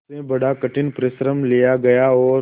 उससे बड़ा कठिन परिश्रम लिया गया और